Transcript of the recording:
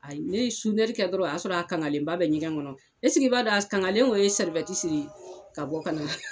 Ayi ne sunɛri kɛ dɔrɔn o y'a sɔr'a kangalenba bɛ ɲɛgɛn ŋɔnɔ, esike i b'a dɔ a s kaŋalen o ye siri ka bɔ ka na